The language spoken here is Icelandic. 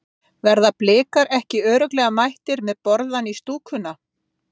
Verða Blikar ekki örugglega mættir með borðann í stúkuna?